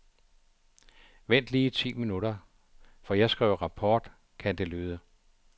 Vent lige ti minutter, for jeg skriver rapport, kan det lyde.